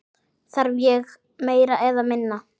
Þarf ég meira eða minna?